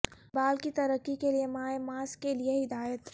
بال کی ترقی کے لئے مائع ماسک کے لئے ہدایت